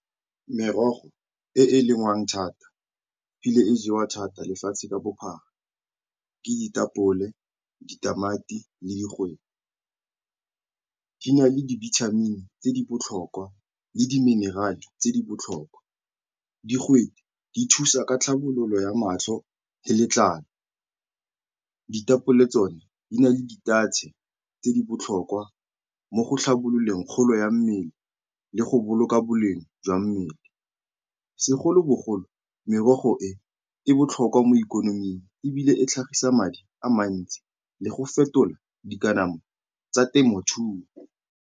Merogo e e lengwang thata ebile e jewa thata lefatshe ka bophara ke ditapole, ditamati le digwete. Di na le dibithamini tse di botlhokwa le di-mineral-e tse di botlhokwa. Digwete di thusa ka tlhabololo ya matlho le letlalo, ditapole tsone di na le ditatšhe tse di botlhokwa mo go tlhabololeng kgolo ya mmele le go boloka boleng jwa mmele. Segolobogolo, merogo e, e botlhokwa mo ikonoming ebile e tlhagisa madi a mantsi le go fetola dikamano tsa temothuo.